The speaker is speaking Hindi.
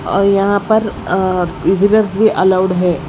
और यहां पर अ विजिटर्स भी अलाउड है।